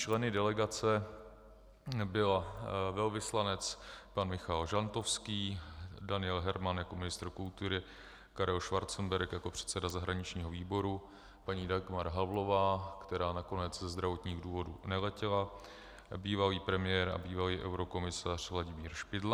Členy delegace byl velvyslanec pan Michal Žantovský, Daniel Herman jako ministr kultury, Karel Schwarzenberg jako předseda zahraničního výboru, paní Dagmar Havlová, která nakonec ze zdravotních důvodů neletěla, bývalý premiér a bývalý eurokomisař Vladimír Špidla.